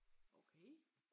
Okay